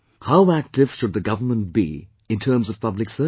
How active should the government be in terms of public service